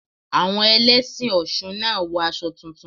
Àwọn Ẹlẹ́sìn Ọ̀ṣun náà wọ aṣọ tuntun.